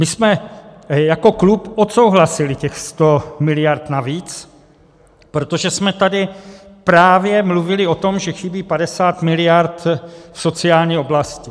My jsme jako klub odsouhlasili těch 100 miliard navíc, protože jsme tady právě mluvili o tom, že chybí 50 miliard v sociální oblasti.